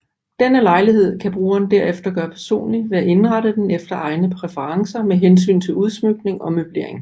Denne lejlighed kan brugeren derefter gøre personlig ved at indrette den efter egne præferencer med hensyn til udsmykning og møblering